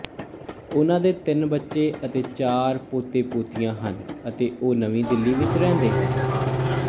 ਉਨ੍ਹਾਂ ਦੇ ਤਿੰਨ ਬੱਚੇ ਅਤੇ ਚਾਰ ਪੋਤੇਪੋਤੀਆਂ ਹਨ ਅਤੇ ਉਹ ਨਵੀਂ ਦਿੱਲੀ ਵਿੱਚ ਰਹਿੰਦੇ ਹਨ